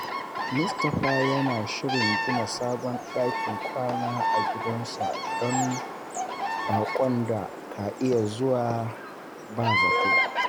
Mutumin yana shirin gina sabon dakin kwana a gidansa don baƙon da ka iya zuwa ba zato.